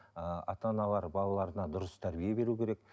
ыыы ата аналар балаларына дұрыс тәрбие беруі керек